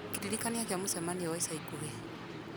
kĩririkania kĩa mũcemanio wa ica ikuhĩ